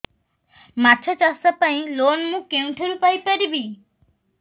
ମାଛ ଚାଷ ପାଇଁ ଲୋନ୍ ମୁଁ କେଉଁଠାରୁ ପାଇପାରିବି